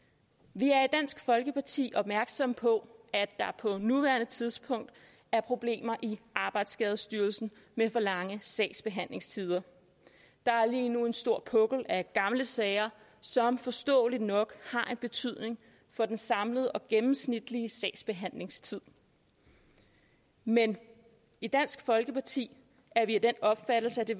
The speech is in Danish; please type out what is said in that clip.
vi er i dansk folkeparti opmærksomme på at der på nuværende tidspunkt er problemer i arbejdsskadestyrelsen med for lange sagsbehandlingstider der er lige nu en stor pukkel af gamle sager som forståeligt nok har en betydning for den samlede og den gennemsnitlige sagsbehandlingstid men i dansk folkeparti er vi af den opfattelse at det